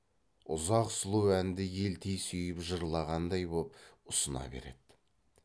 ұзақ сұлу әнді елти сүйіп жырлағандай боп ұсына береді